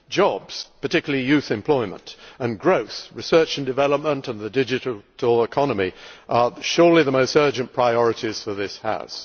Jobs particularly youth employment and growth, research and development, and the digital economy are surely the most urgent priorities for this House.